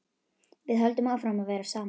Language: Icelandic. Við höldum áfram að vera saman.